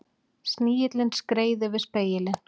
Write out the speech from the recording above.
Snigillinn skreið yfir spegilinn.